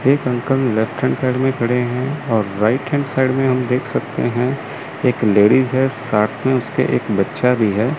एक uncle left hand side में खड़े हैं और राइट हैंड साइड में हम देख सकते हैं एक लेडिस है साथ में उसके एक बच्चा भी है।